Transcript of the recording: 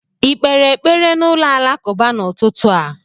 ị kpere ekpere n'ụlọ alakụba n'ụtụtụ a?